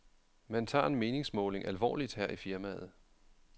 Man tager en meningsmåling alvorligt her i firmaet.